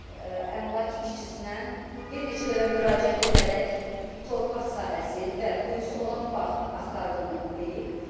Əmlak işçisinə bir neçə dəfə müraciət edərək torpaq sahəsi və quyusu olan bağ axtardığını deyib.